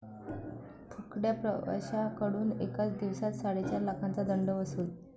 फुकट्या' प्रवाशांकडून एकाच दिवसात चाडेचार लाखांचा दंड वसूल